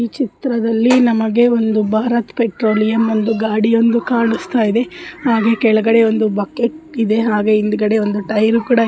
ಈ ಚಿತ್ರದಲ್ಲಿ ನಮಗೆ ಒಂದು ಭಾರತ್ ಪೆಟ್ರೋಲಿಯಂ ಒಂದು ಗಾಡಿಯೊಂದು ಕಾಣಿಸ್ತಾಯಿದೆ. ಹಾಗೆ ಕೆಳಗಡೆ ಒಂದು ಬಕೆಟ್ ಇದೆ. ಹಾಗೆ ಹಿಂದ್ಗಡೆ ಒಂದು ಟೈಯ ರು ಕೂಡ --